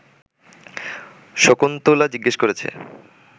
শকুন্তলা জিজ্ঞেস করেছে